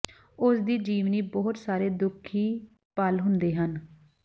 ਉਸ ਦੀ ਜੀਵਨੀ ਬਹੁਤ ਸਾਰੇ ਦੁਖੀ ਪਲ ਹੁੰਦੇ ਹਨ